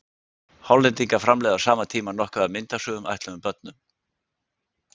Hollendingar framleiða á sama tíma nokkuð af myndasögum ætluðum börnum.